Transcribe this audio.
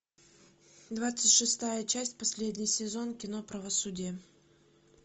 двадцать шестая часть последний сезон кино правосудие